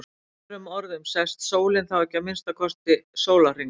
með öðrum orðum sest sólin þá ekki í að minnsta kosti sólarhring